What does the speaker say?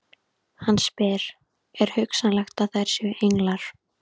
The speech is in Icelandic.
Hann spyr: er hugsanlegt að þær séu englar?